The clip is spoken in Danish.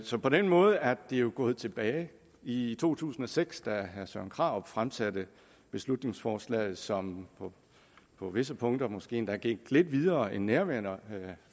så på den måde er det jo gået tilbage i to tusind og seks da herre søren krarup fremsatte beslutningsforslaget som på visse punkter måske endda gik lidt videre end nærværende